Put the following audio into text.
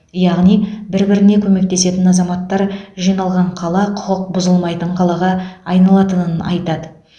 яғни бір біріне көмектесетін азаматтар жиналған қала құқық бұзылмайтын қалаға айналатынын айтады